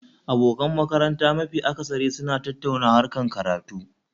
Abokan makaranta mafi akasari suna tattauna harkar karatu